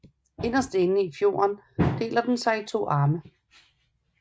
Inderst i fjorden deler den sig i to små arme